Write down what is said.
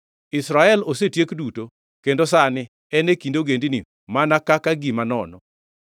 Israel osetiek duto; kendo sani en e kind ogendini, mana kaka gima nono.